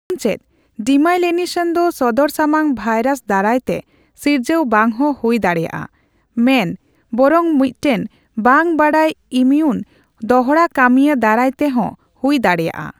ᱮᱢᱚᱱᱪᱮᱫ, ᱰᱤᱢᱟᱤᱞᱤᱱᱮᱥᱚᱱ ᱫᱚ ᱥᱚᱫᱚᱨᱥᱟᱢᱟᱝ ᱵᱷᱟᱭᱨᱟᱥ ᱫᱟᱨᱟᱭ ᱛᱮ ᱥᱤᱨᱡᱟᱹᱣ ᱵᱟᱝᱦᱚᱸ ᱦᱩᱭ ᱫᱟᱲᱮᱭᱟᱜᱼᱟ ᱢᱮᱱ ᱵᱚᱨᱚᱝ ᱢᱤᱫᱴᱮᱱ ᱵᱟᱝ ᱵᱟᱰᱟᱭ ᱤᱢᱤᱭᱩᱱ ᱫᱚᱲᱦᱟᱠᱟᱹᱢᱤᱭᱟᱹ ᱫᱟᱨᱟᱭ ᱛᱮ ᱦᱚᱸ ᱦᱩᱭ ᱫᱟᱲᱮᱭᱟᱜᱼᱟ ᱾